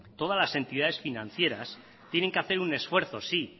todas las entidades financieras tienen que hacer un esfuerzo sí